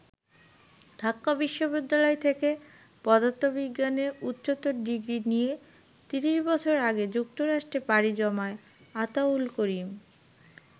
ঢাকা বিশ্ববিদ্যালয় থেকে পদার্থবিজ্ঞানে উচ্চতর ডিগ্রি নিয়ে ৩০ বছর আগে যুক্তরাষ্ট্রে পাড়ি জমান আতাউল করিম।